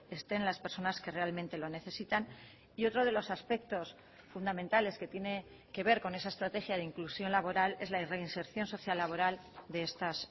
estén las personas que realmente lo necesitan y otro de los aspectos fundamentales que tiene que ver con esa estrategia de inclusión laboral es la reinserción social laboral de estas